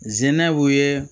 Zinɛw ye